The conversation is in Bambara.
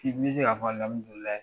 Bi n bɛ se k'a fɔ alamdulaahi!